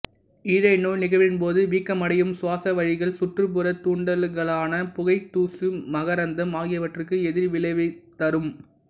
ஈழைநோய் நிகழ்வின் போது வீக்கமடையும் சுவாச வழிகள் சுற்றுப்புறத் தூண்டுதல்களான புகை தூசு மகரந்தம் ஆகியவற்றுக்கு எதிர்விளைவைத் தரும்